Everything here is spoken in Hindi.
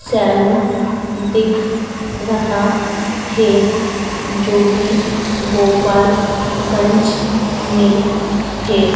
सैलून दिख रहा है जो की गोपालगंज में है।